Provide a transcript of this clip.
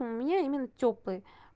у меня именно тёплый